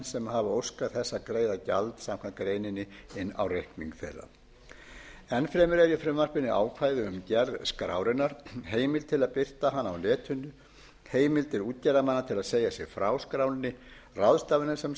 sem hafa óskað þess að greiða gjald samkvæmt greininni inn á reikning þeirra enn fremur er í frumvarpinu ákvæði um gerð skrárinnar heimild til er að birta hana á netinu heimildir útgerðarmanna til að segja sig frá skránni ráðstafanir sem